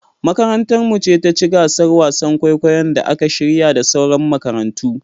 Makarantar mu ce taci gasar wasan kwaikwayon da aka shirya da sauran makarantu